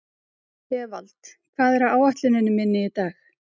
Evald, hvað er á áætluninni minni í dag?